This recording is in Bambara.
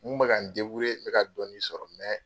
N kun bɛ ka n deburiye, n kun bɛ ka dɔɔnni sɔrɔ mɛ